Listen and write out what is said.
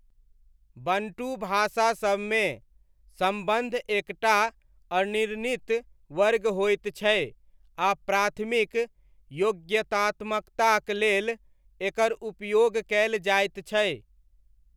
Bantu भाषासबमे, सम्बन्ध एक टा अनिर्णित वर्ग होइत छै आ प्राथमिक योग्यतात्मकताक लेल एकर उपयोग कयल जाइत छै।